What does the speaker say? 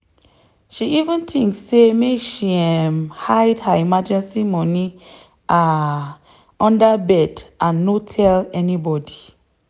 she even think say make she um hide her emergency money um under bed and no tell anybody.